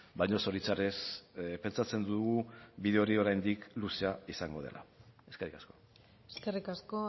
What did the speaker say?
baina zoritxarrez pentsatzen dugu bide hori oraindik luzea izango dela eskerrik asko eskerrik asko